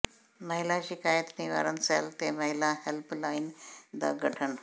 ਮਹਿਲਾ ਸ਼ਿਕਾਇਤ ਨਿਵਾਰਨ ਸੈਲ ਤੇ ਮਹਿਲਾ ਹੈਲਪ ਲਾਈਨ ਦਾ ਗਠਨ